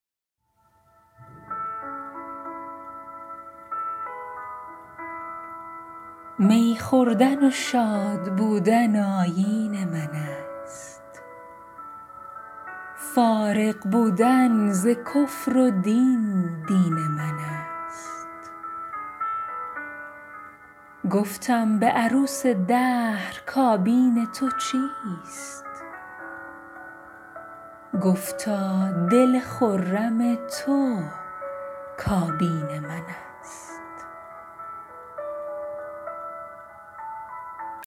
می خوردن و شادبودن آیین من است فارغ بودن ز کفر و دین دین من است گفتم به عروس دهر کابین تو چیست گفتا دل خرم تو کابین من است